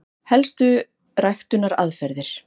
Helstu ræktunaraðferðir: